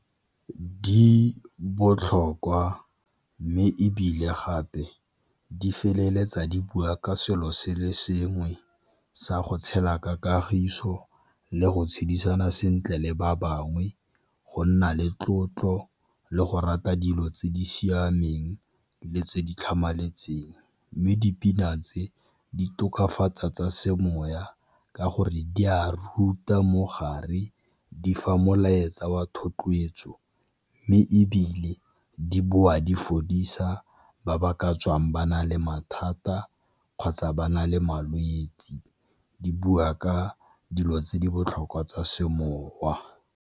Di botlhokwa mme ebile gape di feleletsa di bua ka selo se le sengwe sa go tshela ka kagiso, le go tshedisana sentle le ba bangwe, go nna le tlotlo, le go rata dilo tse di siameng le tse di tlhamaletseng. Mme dipina tse di tokafatsa tsa semoya ka gore di a ruta mo gare, di fa molaetsa wa thotloetso mme ebile di boa di fodisa ba ba ka tswang ba na le mathata kgotsa ba na le malwetsi di bua ka dilo tse di botlhokwa tsa semowa.